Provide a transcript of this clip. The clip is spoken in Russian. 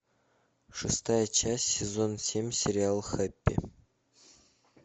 шестая часть сезона семь сериала хэппи